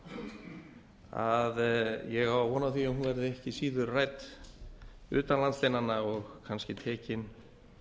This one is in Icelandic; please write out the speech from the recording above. hrikaleg að ég á von á því að hún verði ekki síður rædd utan lands og kannski tekin